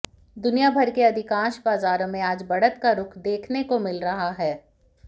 दुनिया भर के अधिकांश बाजारों में आज बढ़त का रुख देखने को मिल रहा है